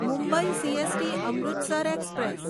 Mumbai CST Amritsar express